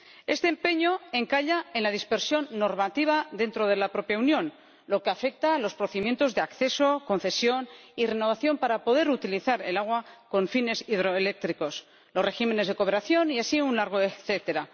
Este empeño encalla en la dispersión normativa dentro de la propia Unión, lo que afecta a los procedimientos de acceso, concesión y renovación para poder utilizar el agua con fines hidroeléctricos, los regímenes de cooperación y así un largo etcétera.